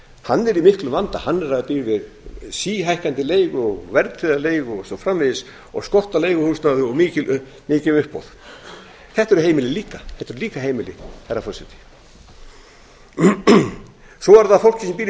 hann er í miklum vanda hann býr við síhækkandi leigu og verðtryggða leigu og svo framvegis skort á leiguhúsnæði og mikil uppboð þetta eru heimili líka herra forseti svo er það fólk sem býr í skuldlausum